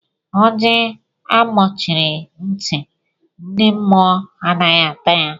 Ọjị a gbochiri ntị, ndị mmụọ adịghị ata ya.